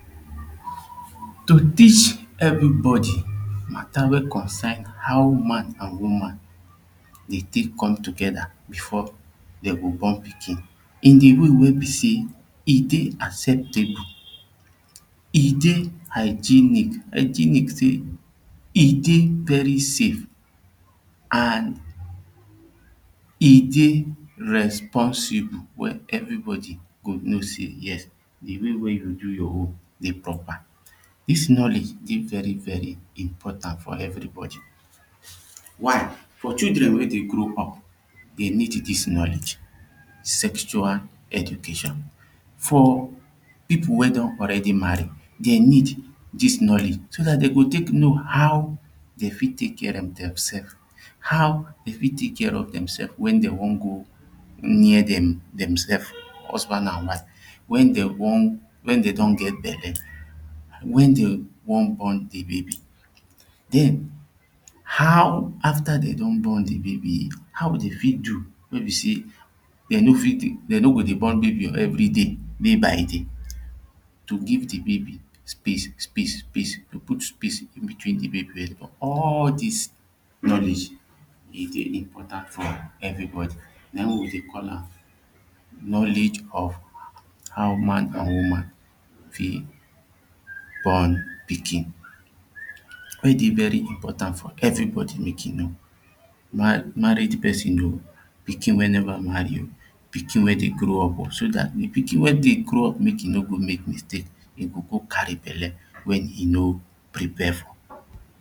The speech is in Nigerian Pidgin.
to teach everybody mata wey consign how man an woman dey take come together before dey go born pikin in di way wey be sey e dey acceptable e dey hygenic hygenic sey e dey very safe an e dey responsible wey everybody go know sey yes the way wey you do your own dey proper. this knowledge dey very very important for everybody. one for children wey dey grow up they need this knowledge. sexual eductation for people wey don already marry dey need this knowledge so that they go take know how they fit take care of themsefs. how they fit take care of themselfs wen they wan go near themsefs; husband an wife when they wan, when they don get belle when they wan born the baby then how after they don born the baby how they fit do wey be sey they no fit do wey be sey they no go dey born baby everyday by day to give the baby space space space go put space in between the baby all these knowledge e dey important for everybody na him we dey call am knowledge of how man an woman fit born pikin wey dey very important for eveybody make e know married person oh pikin wey never marry pikin wey dey grow up so that the pikin we dey grow up make e no go make mistake e go go carry belle wen he no prepare for